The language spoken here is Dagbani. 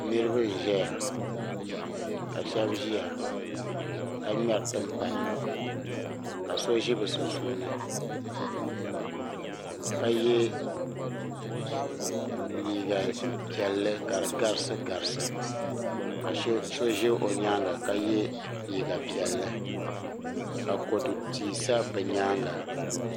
Niriba n ʒɛya. Ka shebi ʒɛya ka ŋmeri tim pana ka ʒɛ bɛ sunsuuni ka ye liiga pielli ka di garisi garisi. Ka so ʒɛ o nyaaŋa ka ye liiga pielli ka kodu tia sa bɛ nyaaŋa